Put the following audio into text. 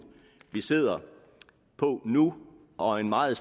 vi sidder på nu og en meget